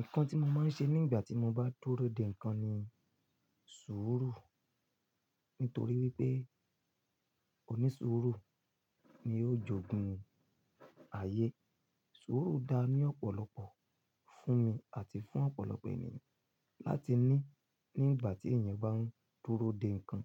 Nǹkan tí mo máa ń ṣe nígbà tí mo bá dúró de nǹkan ni sùúrù. Nítorí wípé òní sùúrù ni ó jogún ayé. Sùúrù dáa ní ọ̀pọ̀lọpọ̀ fún mi àti fún ọ̀pọ̀lọpọ̀ ènìyàn láti ní nígbà tí èèyàn bá ń dúró de nǹkan,